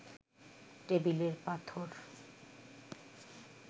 টেবিলের পাথর